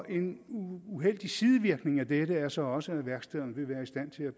en uheldig sidevirkning af dette er så også at værkstederne vil være i stand til at